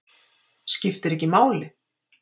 Skiptir ekki máli?